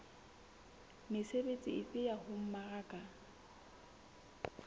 mesebetsi efe ya ho mmaraka